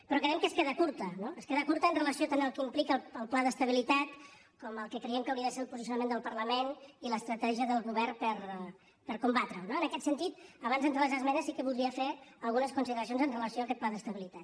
però creiem que es queda curta no es queda curta amb relació tant al que implica el pla d’estabilitat com al que creiem que hauria de ser el posicionament del parlament i l’estratègia del govern per combatre ho no en aquest sentit abans d’entrar a les esmenes sí que voldria fer algunes consideracions amb relació a aquest pla d’estabilitat